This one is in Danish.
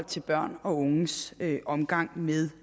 til børn og unges omgang med